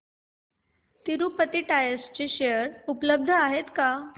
Tirupati tyres चे share उपलब्ध आहेत का